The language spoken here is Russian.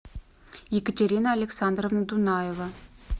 екатерина александровна дунаева